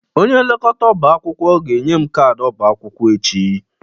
Onye nlekọta ọba akwụkwọ ga-enye m kaadị ọba akwụkwọ echi.